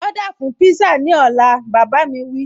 Ọ́dà fún pízá ní ọ̀la, bàbá a mi wí